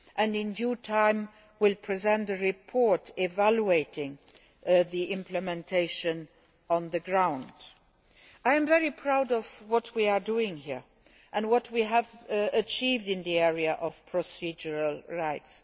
In due time, it will present a report evaluating the directive's implementation on the ground. I am very proud of what we are doing here and what we have achieved in the area of procedural rights.